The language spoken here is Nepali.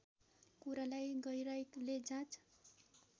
कुरालाई गहिराईले जाँच